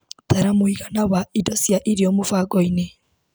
Tara mũigana wa indo cia irio mũbango-inĩ .